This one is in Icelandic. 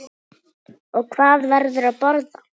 Og hvað verður að borða?